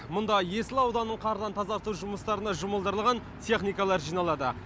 мұнда есіл ауданын қардан тазарту жұмыстарына жұмылдырылған техникалар жиналады